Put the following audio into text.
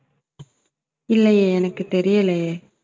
இல்லையே எனக்குத் தெரியலையே